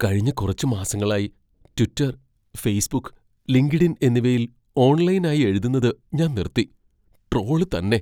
കഴിഞ്ഞ കുറച്ച് മാസങ്ങളായി ട്വിറ്റർ, ഫേസ്ബുക്ക്, ലിങ്ക്ഡ്ഇൻ എന്നിവയിൽ ഓൺലൈനായി എഴുതുന്നത് ഞാൻ നിർത്തി. ട്രോള് തന്നെ.